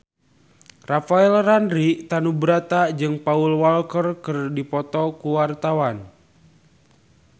Rafael Landry Tanubrata jeung Paul Walker keur dipoto ku wartawan